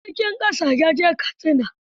A jirgin ƙasa ya je Katsina.